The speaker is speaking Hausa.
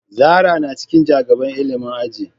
Zara na cikin ja gaban ilimin aji.